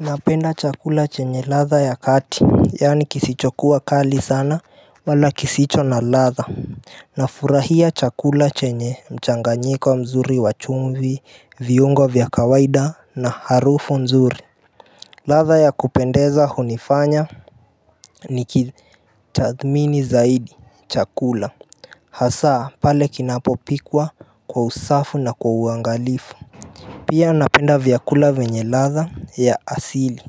Napenda chakula chenye ladha ya kati Yaani kisicho kuwa kali sana wala kisicho na ladha na furahia chakula chenye mchanganyiko mzuri wa chumvi viungo vya kawaida na harufu nzuri ladha ya kupendeza hunifanya nikitathmini zaidi chakula hasa pale kinapopikwa kwa usafu na kwa uangalifu Pia napenda vyakula venye ladha ya asili